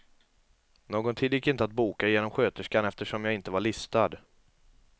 Någon tid gick inte att boka genom sköterskan eftersom jag inte var listad.